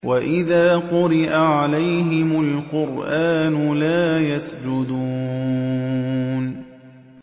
وَإِذَا قُرِئَ عَلَيْهِمُ الْقُرْآنُ لَا يَسْجُدُونَ ۩